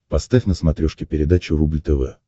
поставь на смотрешке передачу рубль тв